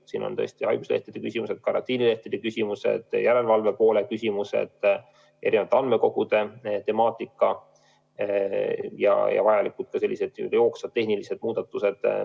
Siin on sees tõesti haiguslehtede küsimused, karantiinilehtede küsimused, järelevalve küsimused, eri andmekogude temaatika ja ka vajalikud jooksvad tehnilised muudatused.